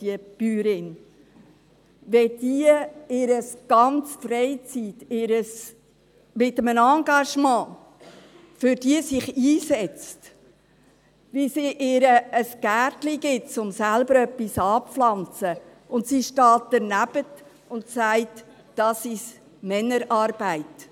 wie sie sich in ihrer ganzen Freizeit mit einem Engagement für diese einsetzt, wie sie ihr ein Gärtchen gibt, um etwas anzupflanzen, während die Eritreerin danebensteht, keinen Finger rührt und sagt: Das ist Männerarbeit.